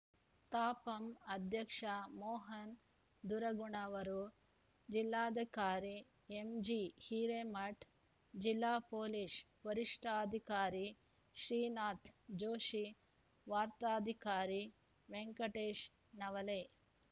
ತಾಪಂ ಅಧ್ಯಕ್ಷ ಮೋಹನ ದುರಗಣ್ಣವರ ಜಿಲ್ಲಾಧಿಕಾರಿ ಎಂಜಿ ಹಿರೇಮಠ ಜಿಲ್ಲಾ ಪೊಲೀಸ್ ವರಿಷ್ಠಾಧಿಕಾರಿ ಶ್ರೀನಾಥ ಜೋಶಿ ವಾರ್ತಾಧಿಕಾರಿ ವೆಂಕಟೇಶ ನವಲೆ